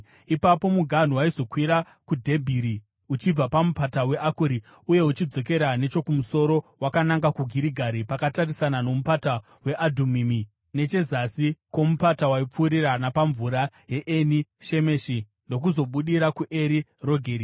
Ipapo muganhu waizokwira kuDhebhiri uchibva paMupata weAkori uye uchidzokera nechokumusoro wakananga kuGirigari, pakatarisana noMupata weAdhumimi nechezasi kwomupata. Waipfuurira napamvura yeEni Shemeshi ndokuzobudira kuEri Rogeri.